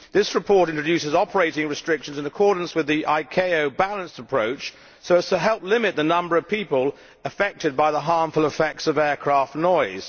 This report introduced operating restrictions in accordance with the ICAO balanced approach, to help limit the number of people affected by the harmful effects of aircraft noise.